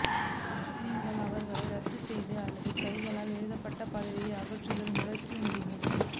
நீங்கள் அவர்களை ரத்து செய்ய அல்லது கையால் எழுதப்பட்ட பதவியை அகற்றுதல் முடுக்கி முடியும்